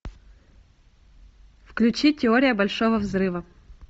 включи теория большого взрыва